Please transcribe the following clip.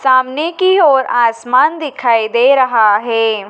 सामने की ओर आसमान दिखाई दे रहा है।